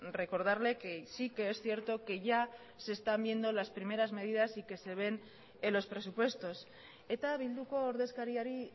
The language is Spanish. recordarle que sí que es cierto que ya se están viendo las primeras medidas y que se ven en los presupuestos eta bilduko ordezkariari